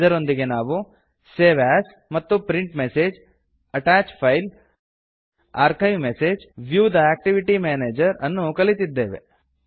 ಇದರೊಂದಿಗೆ ನಾವು save as ಮತ್ತು print message attach file archive message view the activity manager ಅನ್ನು ಕಲಿತಿದ್ದೇವೆ